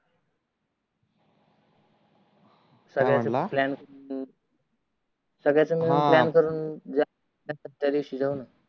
त्यादिवशी जाऊ न